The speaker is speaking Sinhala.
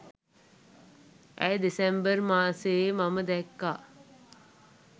ඇය දෙසැම්බර් මාසේ මම දැක්කා